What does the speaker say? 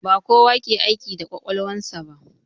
Ba kowa ke aiki da kwakwalwan sa ba.